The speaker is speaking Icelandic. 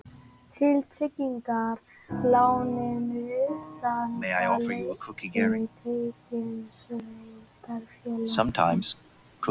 Til tryggingar láninu standa tekjur sveitarfélagsins